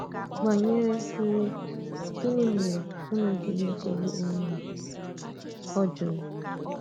Banyere ùwè, gịnị̀ mèré̄ ùnù jì na-echegbu onwē ùnù? ọ jụrụ̄.